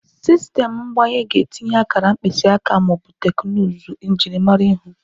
Sistemụ mgbanye ga-etinye akara mkpịsị aka ma ọ bụ teknụzụ njirimara ihu.